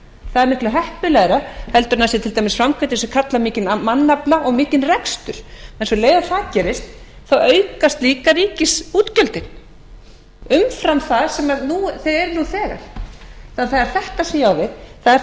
það er miklu heppilegra heldur en það sé til dæmis framkvæmdir sem kalla á mikinn mannafla og mikinn rekstur um leið og það gerist aukast líka ríkisútgjöldin umfram það sem þau eru nú þegar það er þetta sem ég á við það er